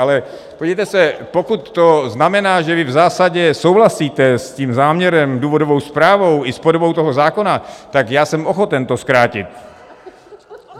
Ale podívejte se, pokud to znamená, že vy v zásadě souhlasíte s tím záměrem, důvodovou zprávou i s podobou toho zákona, tak já jsem ochoten to zkrátit.